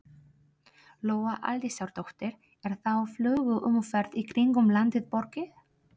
Lóa Aldísardóttir: Er þá flugumferð í kringum landið borgið?